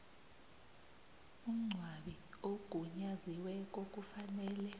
umngcwabi ogunyaziweko kufanele